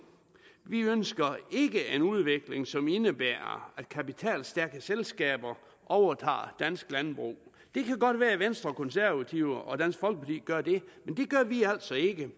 vi ønsker ikke en udvikling som indebærer at kapitalstærke selskaber overtager dansk landbrug det kan godt være at venstre konservative og dansk folkeparti gør det men det gør vi altså ikke